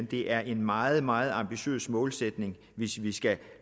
det er en meget meget ambitiøs målsætning hvis vi skal